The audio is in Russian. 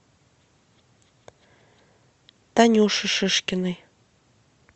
танюши шишкиной